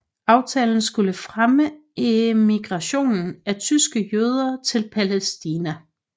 Aftalen skulle fremme emigrationen af tyske jøder til Palæstina